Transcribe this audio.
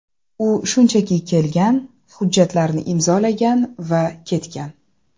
U shunchaki kelgan, hujjatlarni imzolagan va ketgan.